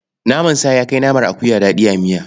Naman sa ya kai na akuya daɗi a miya.